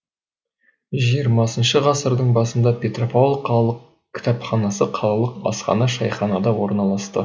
жиырмасыншы ғасырдың басында петропавл қалалық кітапханасы қалалық асхана шайханада орналасты